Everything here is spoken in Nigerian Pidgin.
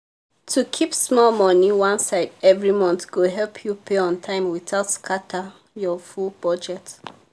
to keep small money one side every month go help you pay on time without scatter your full budget.